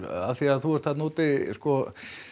af því að þú ert þarna úti sko